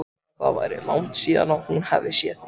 Sagði að það væri langt síðan hún hefði séð þig.